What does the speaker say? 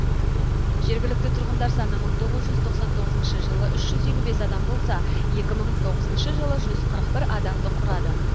жергілікті тұрғындар саны мың тоғыз жүз тоқсан тоғызыншы жылы үш жүз елу бес адам болса екі мың тоғызыншы жылы жүз қырық бір адамды құрады